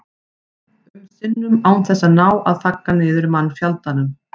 um sinnum án þess að ná að þagga niður í mannfjandanum.